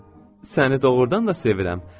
Səni doğrudan da sevirəm.